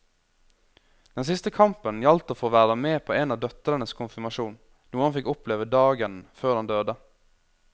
Den siste kampen gjaldt å få være med på en av døtrenes konfirmasjon, noe han fikk oppleve dagen før han døde.